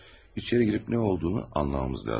İçəri girib nə olduğunu anlamamız lazım.